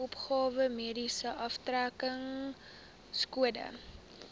opgawe mediese aftrekkingskode